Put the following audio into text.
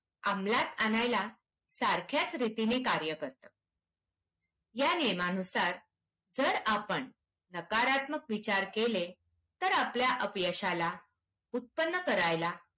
अंमलात आणायला सारख्याच रीतीने कार्य करतं. या नियमांनुसार जर आपण नकारात्मक विचार केले तर आपल्या अपयशाला उत्पन्न करायला